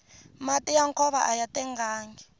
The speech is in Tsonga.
mati ya nkova aya tengangi